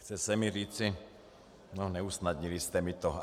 Chce se mi říci no, neusnadnili jste mi to.